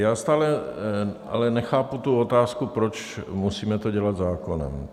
Já stále ale nechápu tu otázku, proč to musíme dělat zákonem.